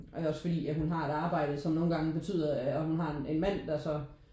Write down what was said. Og jeg har jo selvfølgelig ja hun har et arbejde som nogen gange betyder og hun har en mand der så